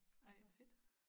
Ej hvor fedt